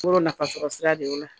Yɔrɔ nafasɔrɔ sira de o la